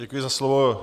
Děkuji za slovo.